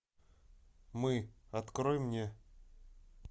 мы открой мне